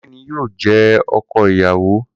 Kunle ni yóò jẹ́ ọkọ ìyàwó